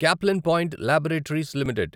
Caplin Point Laboratories limited